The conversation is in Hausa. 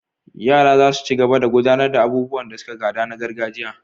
yara zasu cigaba da gudanar da abubuwan da suka gada na gargajiya